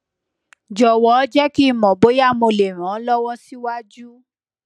jọwọ jẹ ki n mọ boya mo le ran ọ lọwọ siwaju